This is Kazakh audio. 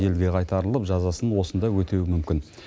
елге қайтарылып жазасын осында өтеуі мүмкін